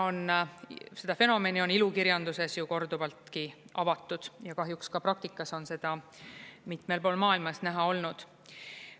Seda fenomeni on ilukirjanduses ju korduvaltki avatud ja kahjuks ka praktikas on seda mitmel pool maailmas näha olnud.